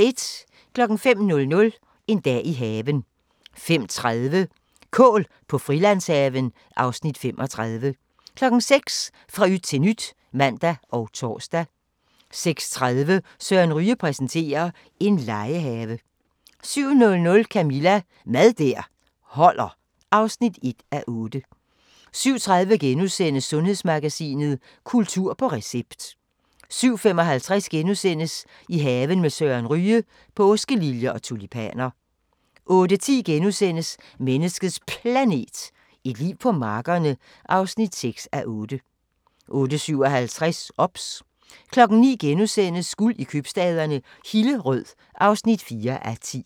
05:00: En dag i haven 05:30: Kål på Frilandshaven (Afs. 35) 06:00: Fra yt til nyt (man og tor) 06:30: Søren Ryge præsenterer: En legehave 07:00: Camilla – Mad der holder (1:8) 07:30: Sundhedsmagasinet: Kultur på recept * 07:55: I haven med Søren Ryge: Påskeliljer og tulipaner * 08:10: Menneskets Planet – et liv på markerne (6:8)* 08:57: OBS 09:00: Guld i købstæderne - Hillerød (4:10)*